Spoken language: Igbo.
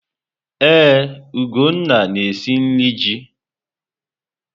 Ee, Ugonna na-esi nri ji.